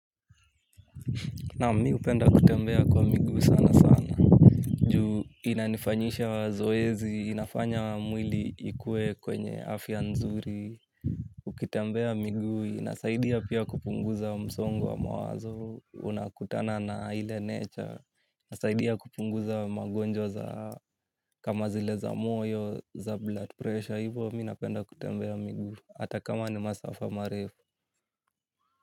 Naam mi hupenda kutembea kwa miguu sanasana ju inanifanyisha mazoezi inafanya mwili ikue kwenye afya nzuri. Ukitembea miguu inasaidia pia kupunguza msongo wa mawazo unakutana na ile nature inasaidia kupunguza magonjwa za kama zile za moyo za blood pressure hivo mi napenda kutembea miguu. Hata kama ni masafa marefu.